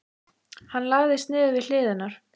Hann lagðist niður við hlið hennar.